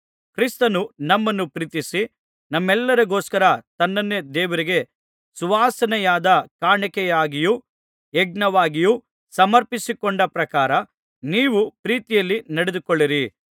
ಕ್ರಿಸ್ತನು ನಮ್ಮನ್ನು ಪ್ರೀತಿಸಿ ನಮ್ಮೆಲ್ಲರಿಗೋಸ್ಕರ ತನ್ನನ್ನೇ ದೇವರಿಗೆ ಸುವಾಸನೆಯಾದ ಕಾಣಿಕೆಯಾಗಿಯೂ ಯಜ್ಞವಾಗಿಯೂ ಸಮರ್ಪಿಸಿಕೊಂಡ ಪ್ರಕಾರ ನೀವೂ ಪ್ರೀತಿಯಲ್ಲಿ ನಡೆದುಕೊಳ್ಳಿರಿ